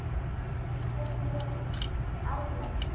Skynjun almennt